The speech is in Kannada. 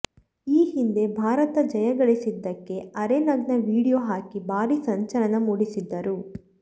ಈ ಹಿಂದೆ ಭಾರತ ಜಯಗಳಿಸಿದ್ದಕ್ಕೆ ಅರೆ ನಗ್ನ ವೀಡಿಯೊ ಹಾಕಿ ಭಾರಿ ಸಂಚಲನ ಮೂಡಿಸಿದ್ದರು